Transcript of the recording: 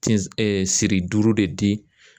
Tin siri duuru de di